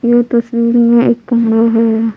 ये तस्वीर में एक कमरा है।